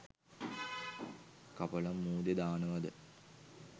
කපලා මූදේ දානවද?